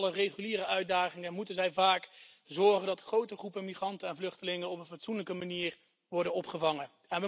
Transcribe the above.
Los van alle reguliere uitdagingen moeten zij immers vaak ervoor zorgen dat grote groepen migranten en vluchtelingen op een fatsoenlijke manier worden opgevangen.